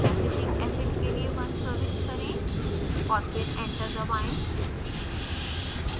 acetic acid के लिए 1 प्रविष्ट करें और फिर enter दबाएँ